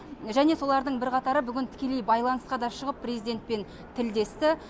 және солардың бірқатары бүгін тікелей байланысқа да шығып президентпен тілдесті